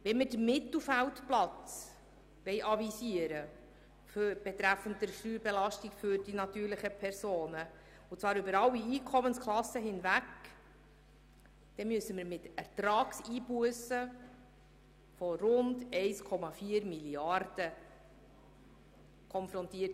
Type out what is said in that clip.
Wenn wir in Sachen Steuerbelastung der natürlichen Personen über alle Einkommensklassen hinweg einen mittleren Platz anstrebten, würden wir mit Ertragseinbussen von rund 1,4 Mrd. Franken konfrontiert.